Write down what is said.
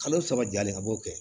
Kalo saba jalen a b'o kɛ